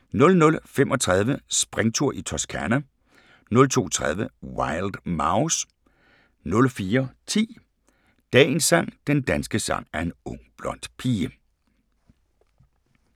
00:35: Springtur i Toscana 02:30: Wild Mouse 04:10: Dagens sang: Den danske sang er en ung blond pige *